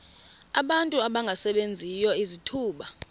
abantu abangasebenziyo izithuba